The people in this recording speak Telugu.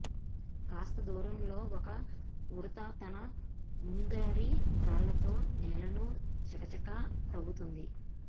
కాస్త దూరంలో ఒక ఉడుత తన ముందరి కాళ్లతో నేలను చకచకా తవ్వుతోంది